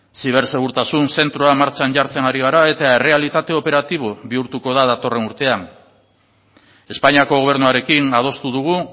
zibersegurtasun zentroa martxan jartzen ari gara eta errealitate operatibo bihurtuko da datorren urtean espainiako gobernuarekin adostu dugu